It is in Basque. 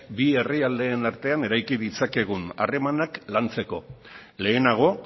bi herrialdeen artean eraiki ditzakegun harremanak lantzeko lehenago